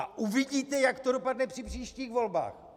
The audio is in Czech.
A uvidíte, jak to dopadne při příštích volbách.